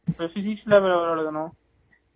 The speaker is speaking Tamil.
physics லாம் எவ்ளோ எழுதணும்